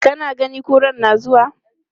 Kana ganin kuran na zuwa?